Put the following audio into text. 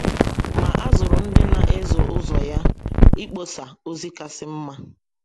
Ma a zụrụ ndị na ezo ụzọ ya - ịkpọsa ozi kasị mma.